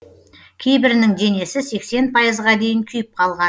кейбірінің денесі сексен пайызға дейін күйіп қалған